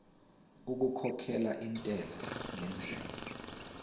okukhokhela intela ngendlela